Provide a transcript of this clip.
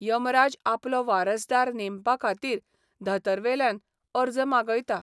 यमराज आपलो वारसदार नेमपा खातीर धतरवेल्यान अर्ज मागयता.